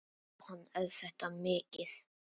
Jóhann: Er þetta mikið?